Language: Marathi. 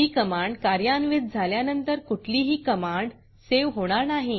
ही कमांड कार्यान्वित झाल्यानंतर कुठलीही कमांड सेव्ह होणार नाही